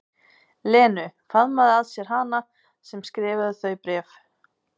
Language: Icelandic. Lenu, faðma að sér hana sem skrifaði þau bréf.